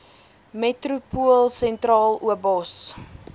metropool sentraal obos